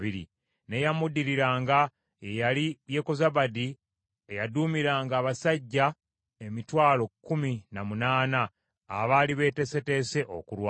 n’eyamuddiriranga ye yali Yekozabadi eyaduumiranga abasajja emitwalo kkumi na munaana abaali beeteeseteese okulwana (180,000).